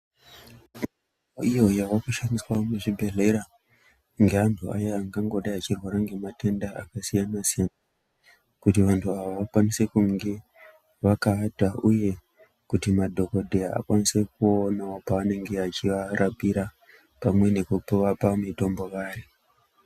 Iyo yava kushandiswa muzvibhedhlera ngeantu aya angangodai achirwara ngematenda akasiyana-siyana, kuti vantu ava vakwanise kunge vakaata uye kuti madhokodheya akwanise kuonawo pavanenge achivarapira pamwe nekuvapa mitombo.